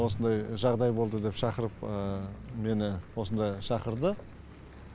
осындай жағыдай болды деп шақырып мені осында шақырды